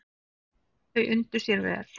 Þau undu sér vel.